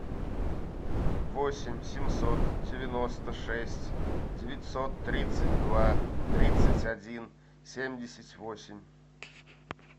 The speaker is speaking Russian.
восемь семьсот девяносто шесть девятьсот тридцать два тридцать один семьдесят восемь